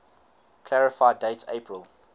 clarify date april